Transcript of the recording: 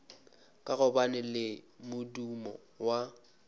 ka gobane le modumo wa